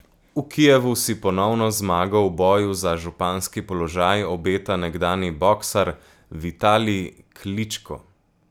V Kijevu si ponovno zmago v boju za županski položaj obeta nekdanji boksar Vitalij Kličko.